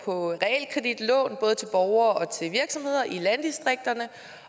både borgere og virksomheder i landdistrikterne